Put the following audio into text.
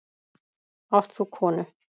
Átt þú konu?